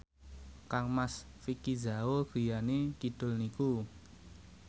kangmas Vicki Zao griyane kidul niku